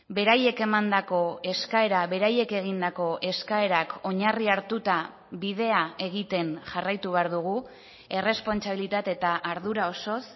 beraiek emandako eskaera beraiek egindako eskaerak oinarri hartuta bidea egiten jarraitu behar dugu errespontsabilitate eta ardura osoz